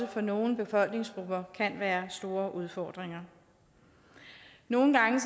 for nogle befolkningsgrupper kan være store udfordringer nogle gange